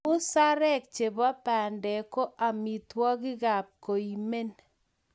Musarek chebo pandek ko amitwogikap koimen